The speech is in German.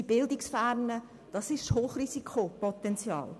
Die bildungsfernen Eltern sind ein Hochrisikopotenzial.